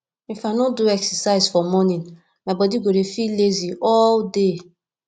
if i no do exercise for morning my body go dey feel lazy all day